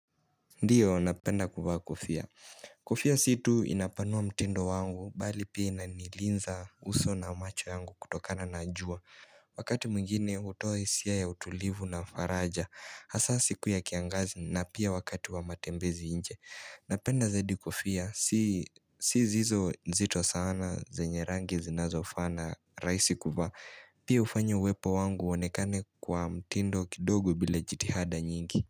Ndiyo napenda kuvaa kofia. Kofia si tu inapanua mtindo wangu bali pia inanilinza uso na macho yangu kutokana na jua. Wakati mwingine utoe isia ya utulivu na faraja. Hasa siku ya kiangazi na pia wakati wa matembezi nje. Napenda zaidi kofia. Si hizo zito sana zenye rangi zinazo fana rahisi kuvaa. Pia ufanyo uwepo wangu uonekane kwa mtindo kidogu bila jitihada nyingi.